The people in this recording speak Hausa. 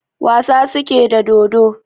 Wasa suke da dodo